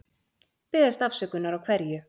Biðjast afsökunar á hverju?